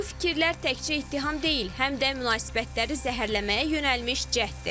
Bu fikirlər təkcə ittiham deyil, həm də münasibətləri zəhərləməyə yönəlmiş cəhddir.